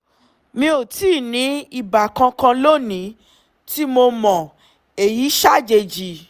mi ò tíì ní ibà kankan lónìí tí mo mọ̀- èyí ṣàjèjì